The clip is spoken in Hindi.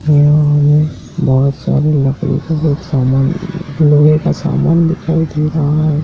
यह हमें बहोत सारा लकड़ी का कुछ सामान लोहे का सामान दिखाई दे रहा है।